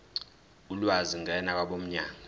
ulwazi ngena kwabomnyango